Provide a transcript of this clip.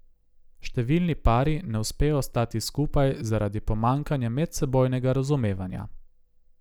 Številni pari ne uspejo ostati skupaj zaradi pomanjkanja medsebojnega razumevanja.